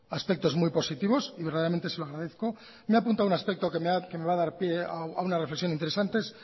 aspectos muy positivos y verdaderamente se lo agradezco me ha apuntado un aspecto que me va a dar pie a una reflexión interesante